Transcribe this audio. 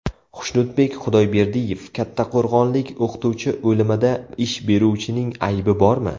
Xushnudbek Xudoyberdiyev: Kattaqo‘rg‘onlik o‘qituvchi o‘limida ish beruvchining aybi bormi?.